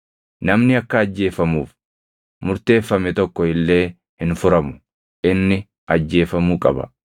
“ ‘Namni akka ajjeefamuuf murteeffame tokko illee hin furamu; inni ajjeefamuu qaba.